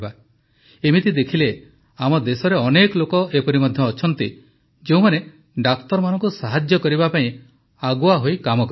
ଏମିତି ଦେଖିଲେ ଆମ ଦେଶରେ ଅନେକ ଲୋକ ଏପରି ମଧ୍ୟ ଅଛନ୍ତି ଯେଉଁମାନେ ଡାକ୍ତରମାନଙ୍କୁ ସାହାଯ୍ୟ କରିବା ପାଇଁ ଆଗୁଆ ହୋଇ କାମ କରିଥାନ୍ତି